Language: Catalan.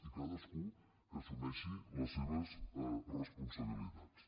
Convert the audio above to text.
i cadascú que assumeixi les seves responsabilitats